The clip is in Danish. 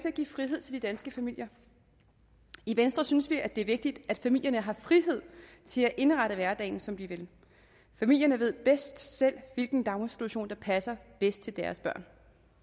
at give frihed til de danske familier i venstre synes vi det er vigtigt at familierne har frihed til at indrette hverdagen som de vil familierne ved bedst selv hvilken daginstitution der passer bedst til deres børn